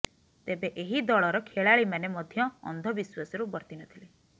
ତେବେ ଏହି ଦଳର ଖେଳାଳିମାନେ ମଧ୍ୟ ଅନ୍ଧବିଶ୍ୱାସରୁ ବର୍ତି ନଥିଲେ